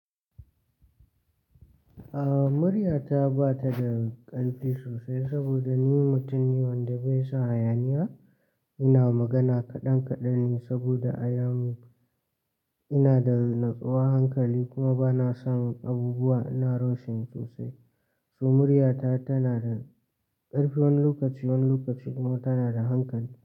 A muryata ba ta da ƙarfi sosai saboda ni mutum ne wanda bai son hayaniya. Ina magana kaɗan kaɗan ne saboda a yanu ina da natsuwa hankali kuma ba na samun abubuwa ina roshin sosai. Su muryata tana da ƙarfi wani lokaci wani lokaci kuma tana da hankali.